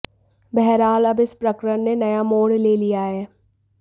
बहरहाल अब इस प्रकरण ने नया मोड़ ले लिया है